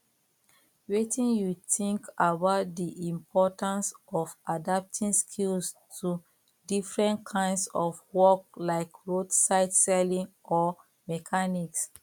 wetin you think about di importance of adapting skills to different kinds of work like roadside selling or mechanics